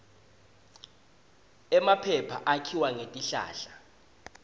emaphepha akhiwa ngetihlahla